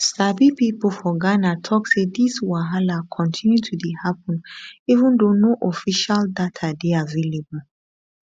sabi pipo for ghana tok say dis wahala continue to dey happun even though no official data dey available